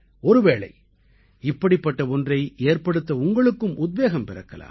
ஒருவேளை இப்படிப்பட்ட ஒன்றை ஏற்படுத்த உங்களுக்கும் உத்வேகம் பிறக்கலாம்